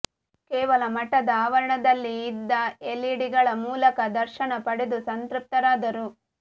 ಕೇವಲ ಮಠದ ಆವರಣದಲ್ಲಿ ಇಒದ್ದ ಎಲ್ಇಡಿಗಳ ಮೂಲಕ ದರ್ಶನ ಪಡೆದು ಸಂತೃಪ್ತರಾದರು